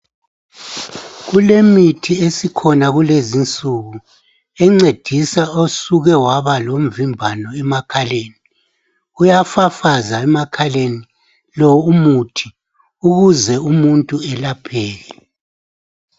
kulemithi esikhona kulezi insuku encedisa osuke waba lomvimbano emakhaleni uyafafaza emakhaleni lo umuthi ukuze umuntu elapheke.